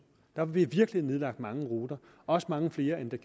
der blev virkelig nedlagt mange ruter også mange flere end der